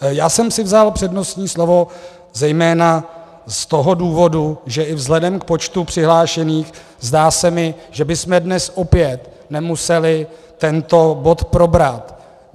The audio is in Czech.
Já jsem si vzal přednostní slovo zejména z toho důvodu, že i vzhledem k počtu přihlášených se mi zdá, že bychom dnes opět nemuseli tento bod probrat.